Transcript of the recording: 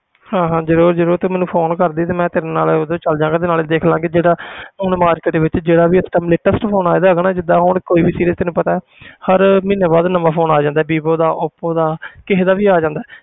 ਹਾਂ ਹਾਂ ਜ਼ਰੂਰ ਜ਼ਰੂਰ ਤੂੰ ਮੈਨੂੰ phone ਕਰ ਦੇਵੀਂ ਤੇ ਮੈਂ ਤੇਰੇ ਨਾਲ ਉਦੋਂ ਚੱਲ ਜਾਵਾਂਗਾ ਤੇ ਨਾਲੇ ਦੇਖ ਲਵਾਂਗੇ ਤੇਰਾ ਹੁਣ market ਵਿੱਚ ਜਿਹੜਾ ਵੀ ਇਸ time latest phone ਜਿੱਦਾਂ ਹੁਣ ਕੋਈ ਵੀ series ਤੈਨੂੰ ਪਤਾ ਹੈ ਹਰ ਮਹੀਨੇ ਬਾਅਦ ਨਵਾਂ phone ਆ ਜਾਂਦਾ ਹੈ ਬੀਬੀ ਦਾ ਓਪੋ ਦਾ ਕਿਸੇ ਦਾ ਵੀ ਆ ਜਾਂਦਾ ਹੈ